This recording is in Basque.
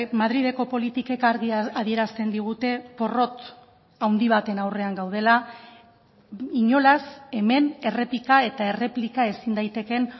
madrileko politikek argi adierazten digute porrot handi baten aurrean gaudela inolaz hemen errepika eta erreplika ezin daitekeen